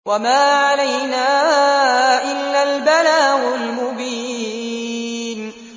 وَمَا عَلَيْنَا إِلَّا الْبَلَاغُ الْمُبِينُ